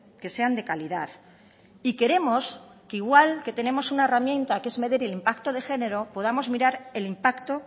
que sean de calidad y queremos que igual que tenemos una herramienta que es medir el impacto de género podamos mirar el impacto